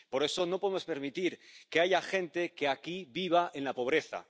por eso, no podemos permitir que haya gente que aquí viva en la pobreza.